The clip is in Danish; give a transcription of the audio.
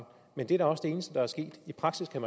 men det er da også det eneste der er sket i praksis kan